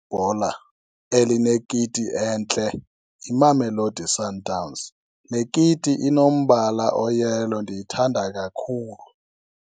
Bhola elinekiti entle yiMamelodi Sundowns. Le kiti inombala oyelo, ndiyithanda kakhulu.